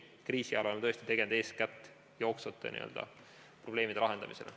Kriisi ajal oleme seni tõesti tegelenud eeskätt jooksvate probleemide lahendamisega.